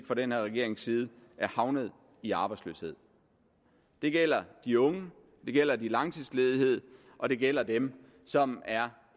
fra den her regerings side er havnet i arbejdsløshed det gælder de unge det gælder de langtidsledige og det gælder dem som er